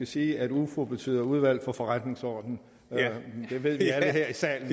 sige at ufo betyder udvalget for forretningsordenen det ved vi alle her i salen